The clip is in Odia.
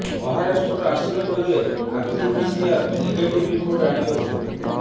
ମହାରାଷ୍ଟ୍ର ଆସିବାକୁ ହେଲେ ଆରଟିପିସିଆର ନେଗେଟିଭ୍ ରିପୋର୍ଟ ଆଣିବାକୁ ହେବ